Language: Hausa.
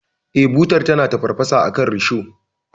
Eh, butar tana tafarfasa akan risho.